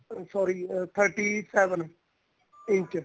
uh sorry thirty seven inch